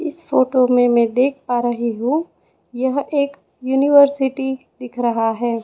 इस फोटो में मैं देख पा रही हूं यह एक यूनिवर्सिटी दिख रहा है।